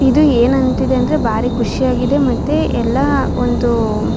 ಇದು ಏನಂತಿದೆ ಅಂದ್ರೆ ಬಾರಿ ಖುಷಿಯಾಗಿದೆ ಮತ್ತೆ ಎಲ್ಲಾ ಒಂದು.